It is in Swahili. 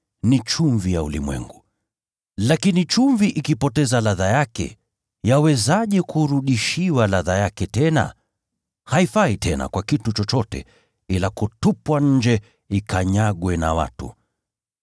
“Ninyi ni chumvi ya ulimwengu. Lakini chumvi ikipoteza ladha yake, yawezaje kurudishiwa ladha yake tena? Haifai tena kwa kitu chochote, ila kutupwa nje ikanyagwe na watu.